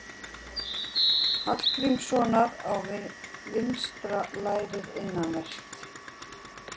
Hallgrímssonar á vinstra lærið innanvert.